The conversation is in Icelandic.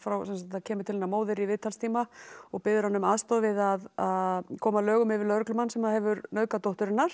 kemur til hennar móðir í viðtalstíma og biður hana um aðstoð við að koma lögum yfir lögreglumann sem hefur nauðgað dóttur hennar